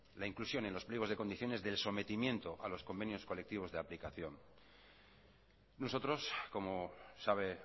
la inclusión en los pliegos de condiciones del sometimiento a los convenios colectivos de aplicación nosotros como sabe